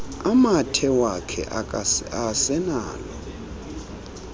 amathe akhe awasenalo